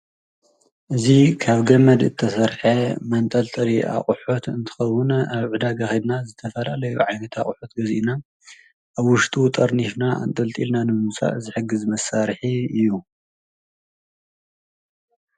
እዙይ ካብ ገመድ ዝተሠርሐ መንጠልጥሊ ኣቝሑት እንትኸዉን ኣብ ዕዳጋ ከይድና ዝተፈላለዩ ዓይነት ኣቝሑት ገዚእና ኣብ ወሽጡ ጠርኒፍና እንጠልጢልና ንምውሳድ ዝሕግዝ መሳርሒ እዩ።